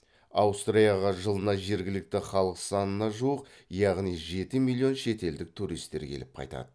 аустрияға жылына жергілікті халық санына жуық яғни жеті миллион шетелдік туристер келіп қайтады